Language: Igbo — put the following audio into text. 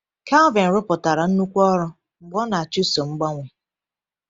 Calvin rụpụtara nnukwu ọrụ mgbe ọ na-achụso mgbanwe.